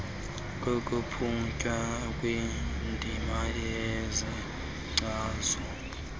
kuqhutywa kwiindima ezichazwe